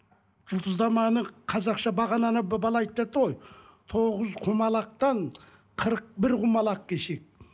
жұлдызнаманы қазақша бағананы бала айтып жатты ғой тоғыз құмалақтан қырық бір құмалақ кешеді